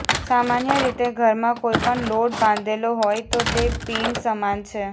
સામાન્ય રીતે ઘરમાં કોઈ પણ લોટ બાંધેલો હોય તો તે પિંડ સમાન છે